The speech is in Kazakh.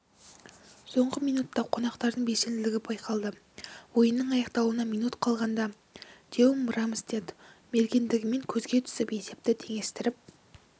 соңғы минутта қонақтардың белсенділігі байқалды ойынның аяқталуына минут қалғанда теему рамстедт мергендігімен көзге түсіп есепті теңестіріп